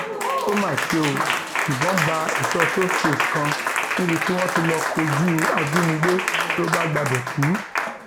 ó má ṣe ó ìbọn bá èso sosẹfẹ kan níbi tí wọn ti lọọ kojú ajínigbé ló bá gbabẹ kú